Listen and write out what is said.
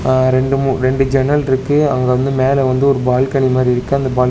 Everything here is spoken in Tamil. அ ரெண்டு மூ ரெண்டு ஜன்னல் இருக்கு அங்க வந்து மேல வந்து ஒரு பால்கனி மாரி இருக்கு அந்த பால்கனி --.